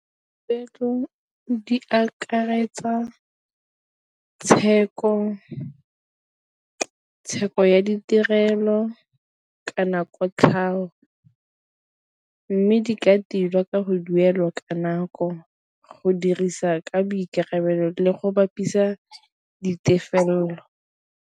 di akaretsa tsheko ya ditirelo kana kotlhao, mme di ka tilwa ka go duela ka nako go dirisa ka boikarabelo le go bapisa ditefelelo.